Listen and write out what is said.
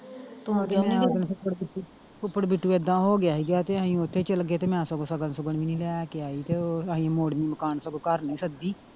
ਫੁੱਫੜ ਬਿੱਟੂ ਏਦਾਂ ਹੋ ਗਿਆ ਸੀਗਾ ਤੇ ਅਸੀਂ ਓਥੇ ਚਲ ਗਏ ਤੇ ਮੈਂ ਸਗੋਂ ਸਗਨ ਸੁਗਨ ਵੀ ਨਹੀਂ ਲੈ ਕੇ ਆਈ ਤੇ ਉਹ ਅਸੀਂ ਮੋੜਵੀਂ ਮਕਾਨ ਸਗੋਂ ਘਰ ਨਹੀਂ ਸੱਦੀ।